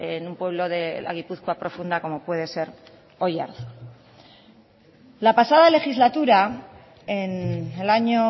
en un pueblo de la gipuzkoa profunda como puede ser oiartzun la pasada legislatura en el año